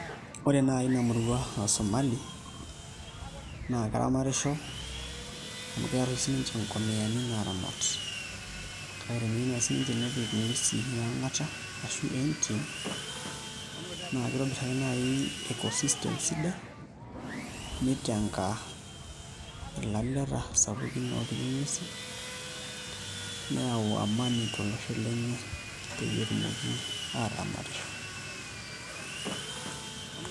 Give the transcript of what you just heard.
Ore naai ina murua e Somali naa keramatisho amu keeta sininche ngomiani naaramat, kake teneyieu naai sininche nepik ng'uesi e angata ashu entim naa kitobirr ake naai [vs]eco-system sidai nitenga ilalete sapukin oopiki nguesin neyau amani tolosho lenye peyie etumoki aataramatisho.